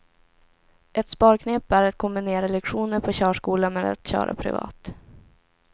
Ett sparknep är att kombinera lektioner på körskola med att köra privat.